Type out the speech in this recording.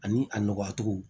Ani a nɔgɔyacogo